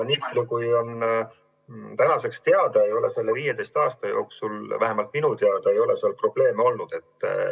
Nii palju kui on tänaseks teada, ei ole selle 15 aasta jooksul – vähemalt minu teada – seal probleeme olnud.